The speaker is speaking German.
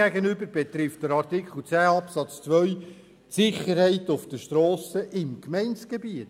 Demgegenüber betrifft Artikel 10 Absatz 2 die Sicherheit auf den Strassen im Gemeindegebiet.